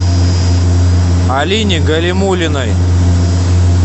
алине галимуллиной